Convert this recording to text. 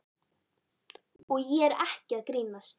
Og ég er ekki að grínast.